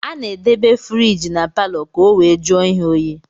Ana edebe furige na paló ka ọ wee jụọ ihe óyi.